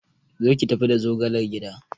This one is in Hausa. Zo ki tafi da zogalar gida!